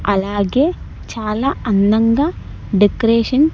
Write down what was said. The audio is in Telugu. అలాగే చాలా అందంగా డెకరేషన్ .